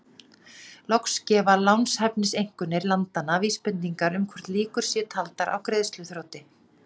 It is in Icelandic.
Loks gefa lánshæfiseinkunnir landanna vísbendingar um hvort líkur séu taldar á greiðsluþroti.